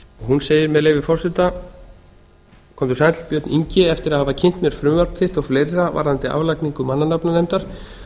hún segir með leyfi forseta komdu sæll björn ingi eftir að hafa kynnt mér frumvarp þitt og fleira varðandi aflagningu mannanafnanefndar